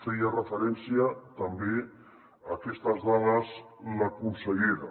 feia referència també a aquestes dades la consellera